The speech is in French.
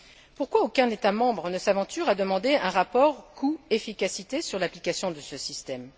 Pourquoi aucun État membre ne s'aventure à demander un rapport coût efficacité sur l'application de ce système?